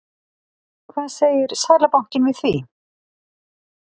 Hvað segir Seðlabankinn við því?